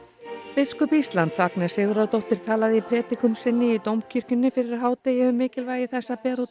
biskup Íslands Agnes Sigurðardóttir talaði í prédikun sinni í Dómkirkjunni fyrir hádegi um mikilvægi þess að bera út